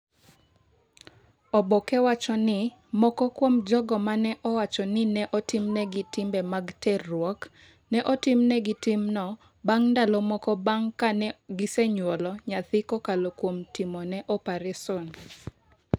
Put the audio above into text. Oboke wacho ni moko kuom jogo ma ne owacho ni ne otimnegi timbe mag terruok, ne otimnegi timno bang’ ndalo moko bang’ ka ne gisenyuolo nyathi kokalo kuom timone opareson.